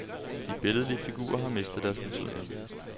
De billedlige figurer har mistet deres betydning.